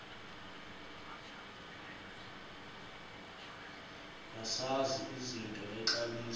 bazazi izinto nexabiso